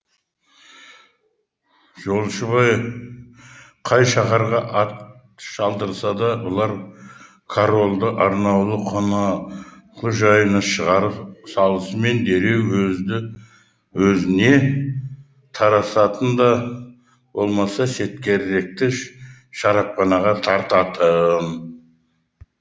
жолшыбай қай шаһарға ат шалдырса да бұлар корольді арнаулы қоналқы жайына шығарып салысымен дереу өзді өзіне тарасатын да болмаса шарапханаға тартатын